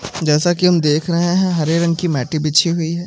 जैसा कि हम देख रहे हैं हरे रंग की मैटे बिछी हुई है।